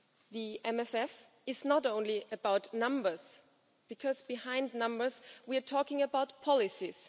The MFF is not only about numbers, because behind numbers we are talking about policies.